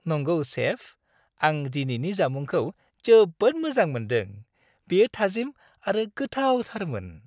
नंगौ, सेफ! आं दिनैनि जामुंखौ जोबोद मोजां मोनदों। बेयो थाजिम आरो गोथावथारमोन!